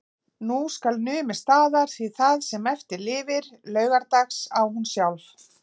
Nú skal numið staðar, því það sem eftir lifir LAUGARDAGS á hún sjálf.